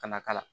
Kana k'a la